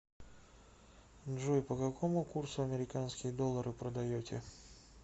джой по какому курсу американские доллары продаете